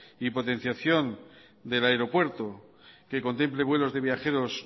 y potenciación del aeropuerto que contemple vuelos de viajeros